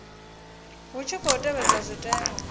hu tshi khou tevhedzwa zwitenwa